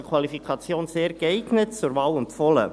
Also: Qualifikation «sehr geeignet», zur Wahl empfohlen.